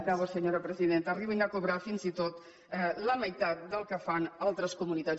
acabo senyora presidenta arribin a cobrar fins i tot la meitat del que fan altres comunitats